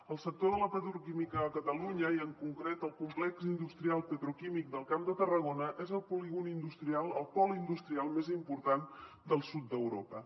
el sector de la petroquímica a catalunya i en concret el complex industrial petroquímic del camp de tarragona és el pol industrial més important del sud d’europa